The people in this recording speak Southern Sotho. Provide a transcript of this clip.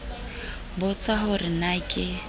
nbotsa ho re na ke